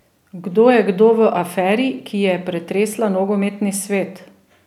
Kdo je kdo v aferi, ki je pretresla nogometni svet?